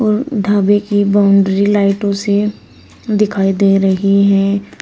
ढाबे की बाउंड्री लाइटों से दिखाई दे रही है।